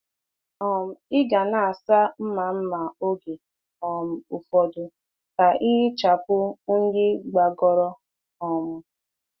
um Ị ga na-asa mma mma oge um ụfọdụ ka ihichapụ unyi gbagoro. um